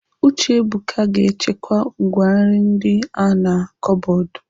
Uchebuka ga-echekwa ngwá nri ndi a na kọbọdụ.